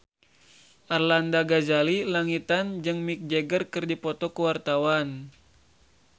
Arlanda Ghazali Langitan jeung Mick Jagger keur dipoto ku wartawan